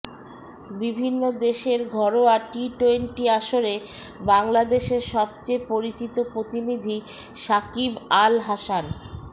বিভিন্ন দেশের ঘরোয়া টি টোয়েন্টি আসরে বাংলাদেশের সবচেয়ে পরিচিত প্রতিনিধি সাকিব আল হাসান